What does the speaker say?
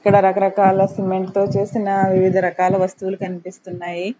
ఇక్కడ రకరకాల సిమెంట్ తో చేసిన వివిధ రకాల వస్తువులు కనిపిస్తున్నాయి.